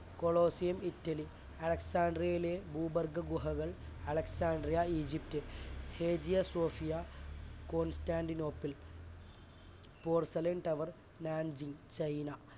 Colosseum Italy, അലക്സാട്രിയിലെ ഭൂഗർഭ ഗുഹകൾ Alexandria, Egypt Hagia Sophia Constantinople tower മാഞ്ചി ചൈന